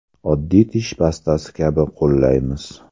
Oddiy tish pastasi kabi qo‘llaymiz.